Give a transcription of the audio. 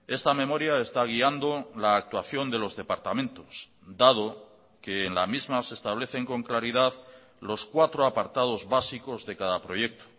esta memoria está guiando la actuación de los departamentos dado que en la misma se establecen con claridad los cuatro apartados básicos de cada proyecto